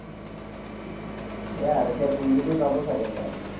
ইয়াত এতিয়া কুলদিপেই পাব চাগে তাৰ